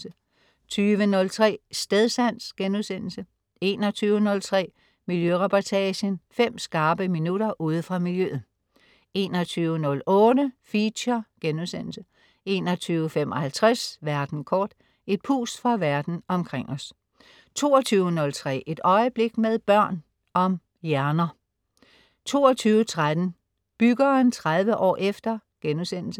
20.03 Stedsans* 21.03 Miljøreportagen. Fem skarpe minutter ude fra miljøet 21.08 Feature* 21.55 Verden kort. Et pust fra Verden omkring os 22.03 Et øjeblik med børn. Om hjerner 22.13 Byggeren 30 år efter*